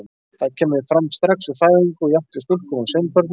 Það kemur fram strax við fæðingu, jafnt hjá stúlku- og sveinbörnum.